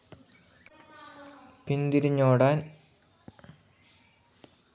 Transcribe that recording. പിന്തിരിഞ്ഞ് ഓടാൻ ആ താളം വേലകളി ഓർമ്മപ്പെടുത്തുന്നു